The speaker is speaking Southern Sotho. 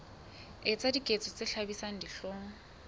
etsa diketso tse hlabisang dihlong